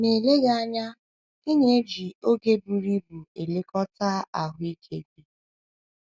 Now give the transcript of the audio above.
MA ELEGHỊ anya, ị na - eji oge buru ibu elekọta ahụ́ ike gị.